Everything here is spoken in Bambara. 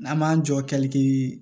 An m'an jɔ kɛlɛ kɛ